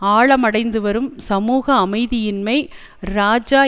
ஆழமடைந்து வரும் சமூக அமைதியின்மைக்கு இராஜா